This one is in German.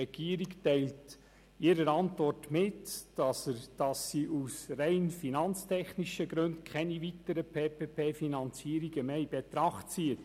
Die Regierung teilt in ihrer Antwort mit, dass sie aus rein finanztechnischen Gründen keine weiteren PPP-Finanzierungen mehr in Betracht zieht.